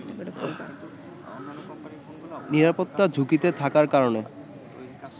নিরাপত্তা ঝুঁকিতে থাকার কারণে